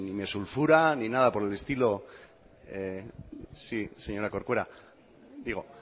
me sulfura ni nada por el estilo sí señora corcuera digo